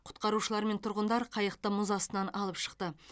құтқарушылар мен тұрғындар қайықты мұз астынан алып шықты